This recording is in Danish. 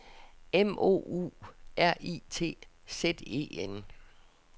M O U R I T Z E N